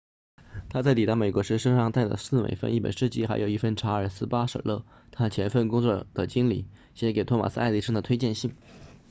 他在抵达美国时身上带着4美分、一本诗集还有一封查尔斯•巴舍勒 charles batchelor 他前份工作的经理写给托马斯•爱迪生 thomas edison 的推荐信